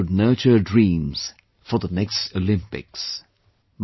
Each one should nurture dreams for the next Olympics